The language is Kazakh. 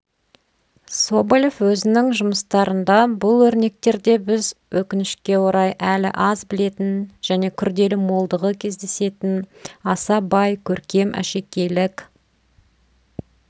соболев өзінің жұмыстарында бұл өрнектерде біз өкінішке орай әлі аз білетін және күрделі молдығы кездесетін аса бай көркем әшекейлік